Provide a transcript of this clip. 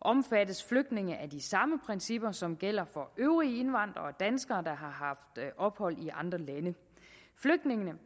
omfattes flygtninge af de samme principper som gælder for øvrige indvandrere danskere der har haft ophold i andre lande flygtninge